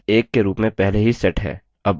बढ़त 1 के रूप में पहले ही set है